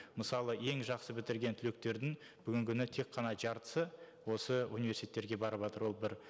мысалы ең жақсы бітірген түлектердің бүгінгі күні тек қана жартысы осы университеттерге барыватыр ол бір